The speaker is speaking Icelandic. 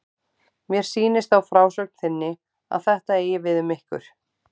Mér sýnist á frásögn þinni að þetta eigi við um ykkur.